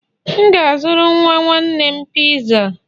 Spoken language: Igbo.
M ga-azụrụ nwa nwanne m Pizza